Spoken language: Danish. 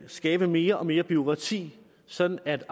at skabe mere og mere bureaukrati sådan at